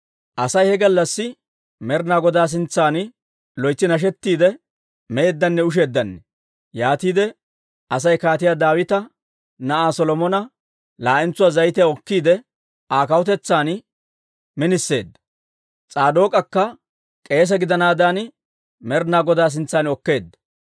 Asay he gallassi Med'inaa Godaa sintsan loytsi nashettidde, meeddanne usheeddanne. Yaatiide Asay Kaatiyaa Daawita na'aa Solomona laa'entsuwaa zayitiyaa okkiide, Aa kawutetsan miniseedda. S'aadook'akka k'eese gidanaadan Med'inaa Godaa sintsan okkeedda.